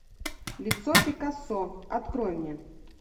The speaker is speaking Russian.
лицо пикассо открой мне